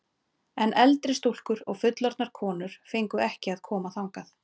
En eldri stúlkur og fullorðnar konur fengu ekki að koma þangað.